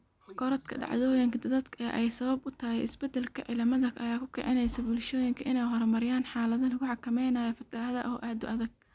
Korodhka dhacdooyinka daadadka ee ay sabab u tahay isbeddelka cimilada ayaa ku kicinaysa bulshooyinka inay horumariyaan xeelado lagu xakameynayo fatahaadaha oo aad u adag.